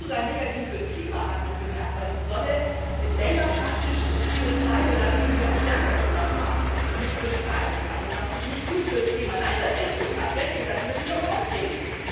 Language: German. Es ist sogar negativ fürs Klima, hat man gemerkt, weil die Sonne länger praktisch CO2 Belastung erzeugt, die am Abend ist, und das ist nicht gut fürs Klima nein, das ist so, tatsächlich, lassen Sie mich doch mal ausreden!